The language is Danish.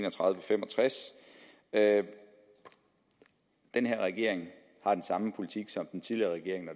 og fem og tres at den her regering har den samme politik som den tidligere regering når